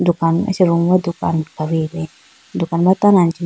acha room dukan kha wuyi bi dukan ma tando anji.